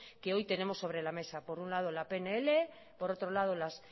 que hoy tenemos sobre la mesa por un lado la pnl por otro lado la